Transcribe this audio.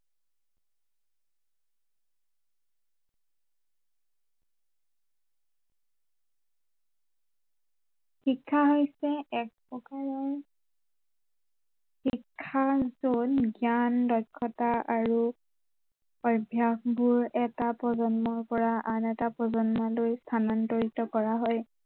শিক্ষা হৈছে এক প্ৰকাৰৰ শিক্ষা যত জ্ঞান, দক্ষতা আৰু অভ্য়াসবোৰ এটা প্ৰজন্মৰ পৰা আন এটা প্ৰজন্মলৈ স্থানান্তৰিত কৰা হয়